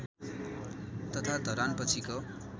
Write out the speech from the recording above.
तथा धरान पछिको